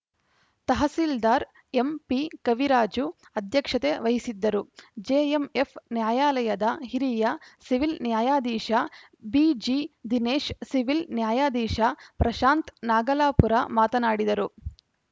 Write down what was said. tahsildar MP Kaviraju ಅಧ್ಯಕ್ಷತೆ ವಹಿಸಿದ್ದರು JMF ನ್ಯಾಯಾಲಯದ ಹಿರಿಯ ಸಿವಿಲ್‌ ನ್ಯಾಯಾಧೀಶ ಬಿಜಿ ದಿನೇಶ್‌ ಸಿವಿಲ್‌ ನ್ಯಾಯಾಧೀಶ ಪ್ರಶಾಂತ್‌ ನಾಗಲಾಪುರ ಮಾತನಾಡಿದರು